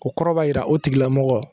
O kɔrɔ b'a jira o tigilamɔgɔ